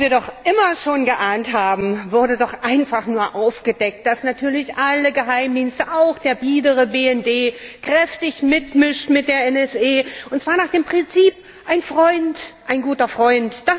Was wir doch immer schon geahnt haben, wurde doch einfach nur aufgedeckt dass natürlich alle Geheimdienste, auch der biedere BND, kräftig mitmischen mit der NSA, und zwar nach dem Prinzip Ein Freund, ein guter Freund.